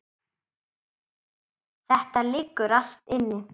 Þetta liggur allt inni